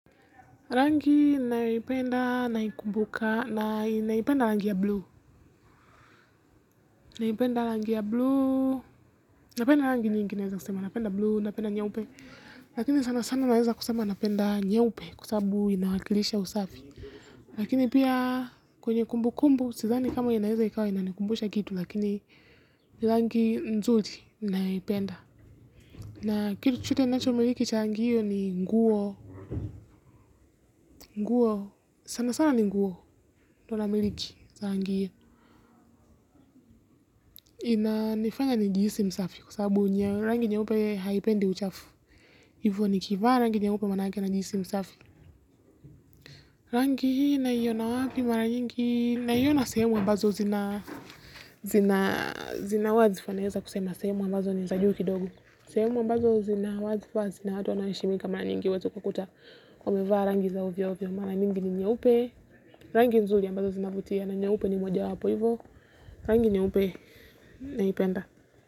Rangi ninayoipenda naikumbuka na naipenda rangi ya blue naipenda rangi ya blue napenda rangi nyingi naweza kusema napenda blue napenda nyeupe lakini sana sana naweza kusema napenda nyeupe kwa sababu inawakilisha usafi lakini pia kwenye kumbukumbu sidhani kama inaweza ikawa inanikumbusha kitu lakini rangi nzuri ninayoipenda na kitu chochote ninacho miliki cha rangi hiyo ni nguo nguo sana sana ni nguo ndo namiliki za rangi hiyo, ina nifanya nijihisi msafi kwa sababu rangi nyeupe haipendi uchafu, hivyo nikivaa rangi nyeupe manake najihisi msafi. Rangi hii naiona wapi mara nyingi, naiona sehemu ambazo zina, zina, zina wadhfa naweza kusema sehemu ambazo ni za juu kidogo. Sehemu ambazo zina wadhfa zina watu wanaoheshimika mara nyingi wetu kwa kuta, omeva rangi za uvia uvia mara nyingi ni nye upe, rangi nzuli ambazo zina vutia na nye upe ni moja wapo hivyo, rangi nye upe. Naipenda.